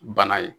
Bana ye